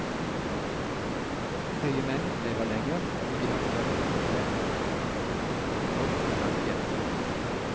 Høye menn lever lenger, og de har større suksess både på jobb og blant jenter.